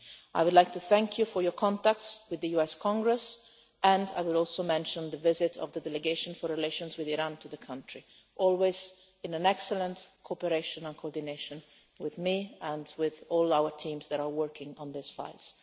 that. I would like to thank you for your contacts with the US Congress and I would also mention the visit of the delegation for relations with Iran to that country. As always there was excellent cooperation and coordination with me and with all our teams that are working on these